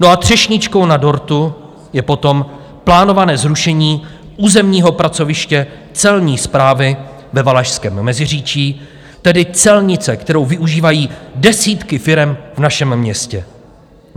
No a třešničkou na dortu je potom plánované zrušení územního pracoviště Celní správy ve Valašském Meziříčí, tedy celnice, kterou využívají desítky firem v našem městě.